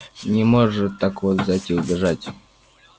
не может так вот взять и убежать